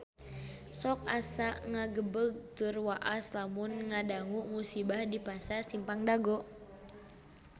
Sok asa ngagebeg tur waas lamun ngadangu musibah di Pasar Simpang Dago